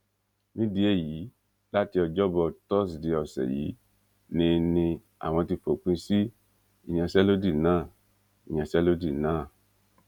nídìí èyí láti ọjọ́ bọ tọsìdeè ọ̀sẹ̀ yìí ni ni àwọn ti fòpin sí ìyanṣẹ́lódì náà ìyanṣẹ́lódì náà